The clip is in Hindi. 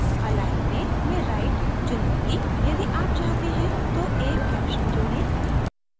align में मैं right चुनूंगी यदि आप चाहते हैं तो एक caption जोडें